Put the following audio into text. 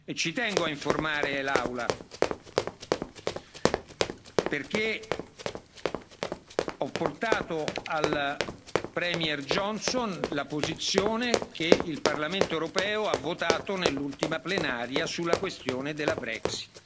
Ci tengo a informare l'Aula perché ho portato al Premier Johnson la posizione che il Parlamento europeo ha votato nell'ultima plenaria sulla questione della Brexit.